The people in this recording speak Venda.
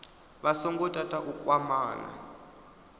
vha songo tata u kwamana